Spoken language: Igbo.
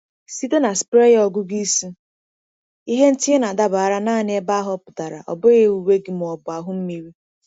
Site na sprayer ọgụgụ isi, ihe ntinye na-adabara naanị ebe a họpụtara—ọ bụghị uwe gị ma ọ bụ ahụ mmiri.